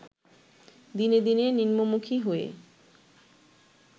দিনে দিনে নিম্নমুখি হয়ে